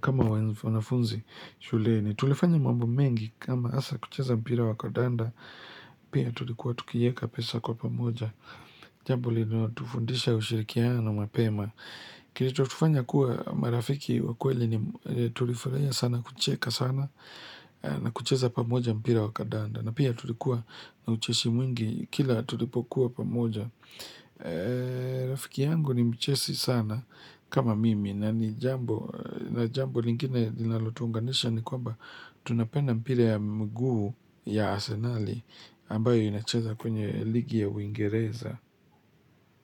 kama wanafunzi shuleni. Tulifanya mambo mengi kama hasa kucheza mpira wa kandanda, pia tulikuwa tukieka pesa kwa pamoja. Jambo linalotufundisha ushirikiano na mapema Kilichotufanya kuwa marafiki wa kweli ni tulifurahia sana kucheka sana na kucheza pamoja mpira wa kandanda. Na pia tulikuwa na ucheshi mwingi kila tulipokuwa pamoja Rafiki yangu ni mcheshi sana kama mimi na ni jambo na jambo lingine linalotuunganisha ni kwamba tunapenda mpira ya mguu ya arsenali ambayo inacheza kwenye ligi ya Uingereza.